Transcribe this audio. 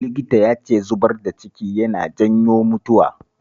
Likitan ya ce zubar da ciki yana janyo mutuwa